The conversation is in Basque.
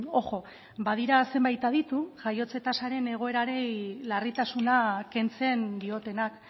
ojo badira zenbait aditu jaiotze tasaren egoerari larritasuna kentzen diotenak